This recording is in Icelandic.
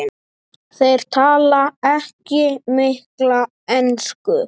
Þeir tala ekki mikla ensku.